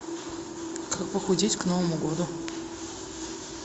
как похудеть к новому году